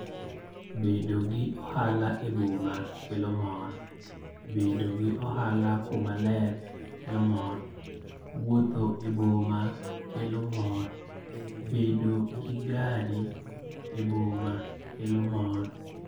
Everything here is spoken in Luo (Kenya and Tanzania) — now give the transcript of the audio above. Bedo gi ohala e boma kelo mor. Bedo gi ohala kuma ler kelo mor. Wuotho e boma kelo mor. Bedo gi gari e boma kelo mor.